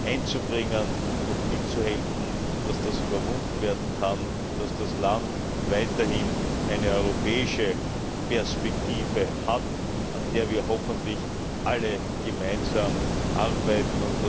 einzubringen und mitzuhelfen, dass sie überwunden werden kann, damit das Land weiterhin eine europäische Perspektive hat, an der wir hoffentlich alle gemeinsam arbeiten.